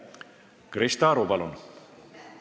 Krista Aru, palun!